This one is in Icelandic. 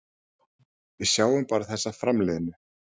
Við sjáum bara þessa framliðnu.